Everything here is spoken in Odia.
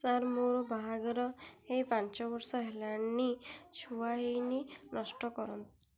ସାର ମୋର ବାହାଘର ହେଇ ପାଞ୍ଚ ବର୍ଷ ହେଲାନି ଛୁଆ ହେଇନି